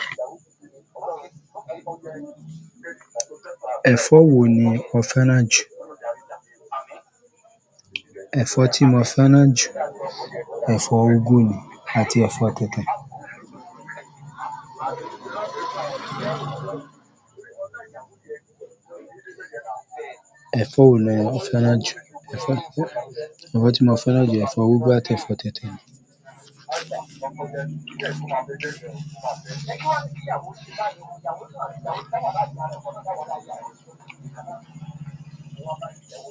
Ẹ̀fọ́ wo ni orphanage? Ẹ̀fọ́ tí mo feran ju, ẹ̀fọ́ úgú ni àti ẹ̀fọ́ tètè. Ẹ̀fọ́ tí mo orphanage, ẹ̀fọ́ úgú àti ẹ̀fọ́ tètè.